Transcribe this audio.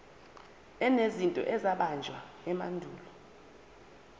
enezinto ezabunjwa emandulo